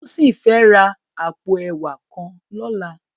Tosin fè rá àpó èwá kàn lòlá